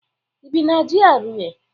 Ị bi na GRA?